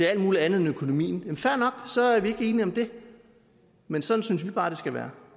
alt muligt andet end økonomien jamen fair nok så er vi ikke enige om det men sådan synes venstre bare det skal være